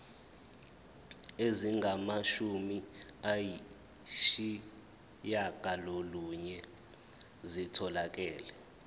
ezingamashumi ayishiyagalolunye zitholakele